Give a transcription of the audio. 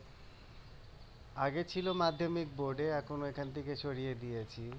আগে ছিল মাধ্যমিক বোর্ডে এখন ওখান থেকে সরিয়ে দিয়েছি